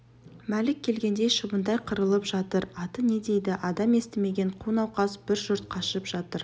мәлік келгендей шыбындай қырылып жатыр аты не дейді адам естімеген қу науқас бір жұрт қашып жатыр